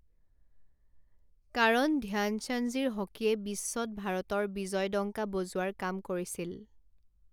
কাৰণ ধ্যান চাঁদজীৰ হকীয়ে বিশ্বত ভাৰতৰ বিজয়ডংকা বজোৱাৰ কাম কৰিছিল।